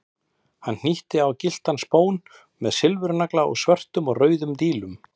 Hann hnýtti á gylltan spón með sigurnagla og svörtum og rauðum dílum.